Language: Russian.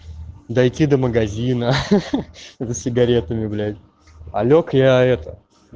дойти до магазина ха-ха за сигаретами блять а лёг я это